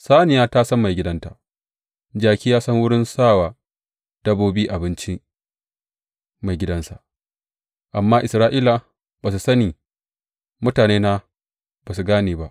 Saniya ta san maigidanta, jaki ya san wurin sa wa dabbobi abinci maigidansa, amma Isra’ila ba su sani, mutanena ba su gane ba.